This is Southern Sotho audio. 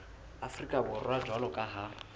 afrika borwa jwalo ka ha